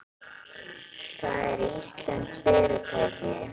Það er íslenskt fyrirtæki.